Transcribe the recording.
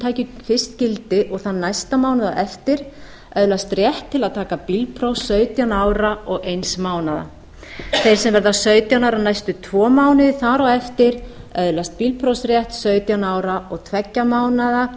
taki fyrst gildi og þann næsta mánuð á eftir öðlast rétt til að taka bílpróf sautján ára og eins mánaðar þeir sem verða sautján ára næstu tvo mánuði þar á eftir öðlast bílprófsrétt sautján ára og tveggja mánaða